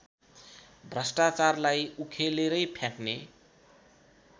भ्रष्टाचारलाई उखेलेरै फ्याँक्ने